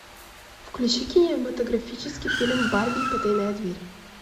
включи кинематографический фильм барби и потайная дверь